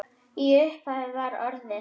Í upphafi var orðið.